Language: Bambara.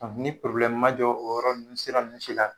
Ni ma jɔ o yɔrɔ nun sira ninnu la